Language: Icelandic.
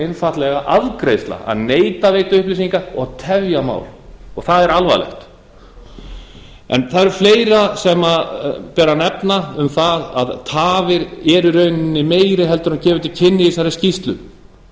einfaldlega afgreiðsla að neita að veita upplýsingar og tefja mál það er alvarlegt en það er fleira sem ber að nefna um það að tafir eru í rauninni meiri heldur en er